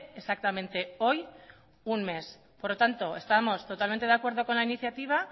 exactamente hoy un mes por lo tanto estamos totalmente de acuerdo con la iniciativa